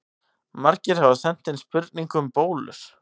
Margir hafa sent inn spurningu um bólur.